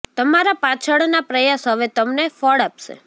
તમારા પાછળ ના પ્રયાસ હવે તમને ફળ આપશે